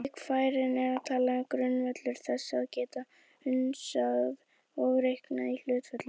Slík færni er talin grundvöllur þess að geta hugsað og reiknað í hlutföllum.